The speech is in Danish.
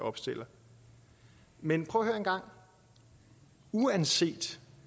opstiller men prøv at høre engang uanset